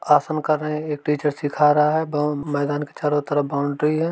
आसन कर रहे हैं। एक टीचर सीखा रहा है बॉउ मैदान के चारों तरफ बाउंड्री है।